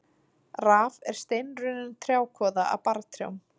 Raf er steinrunnin trjákvoða af barrtrjám.